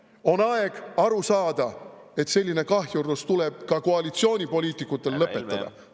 On aeg aru saada, et selline kahjurlus tuleb ka koalitsioonipoliitikutel lõpetada.